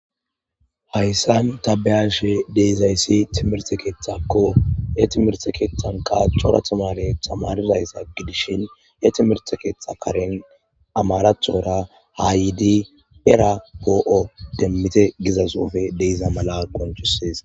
hayssan tabeyashe deizayssi timerse keethakko he timerse keethanka cora timarethamaridayssa gidishin he timerte keetha karen amarathora haa yidi pera poo7o demmite gizasoofe deiza mala qonchusis